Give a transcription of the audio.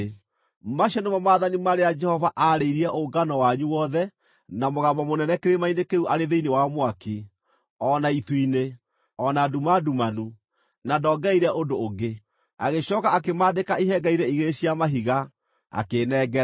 Macio nĩmo maathani marĩa Jehova aarĩirie ũngano wanyu wothe na mũgambo mũnene kĩrĩma-inĩ kĩu arĩ thĩinĩ wa mwaki, o na itu-inĩ, o na nduma ndumanu; na ndoongereire ũndũ ũngĩ. Agĩcooka akĩmaandĩka ihengere-inĩ igĩrĩ cia mahiga, akĩĩnengera.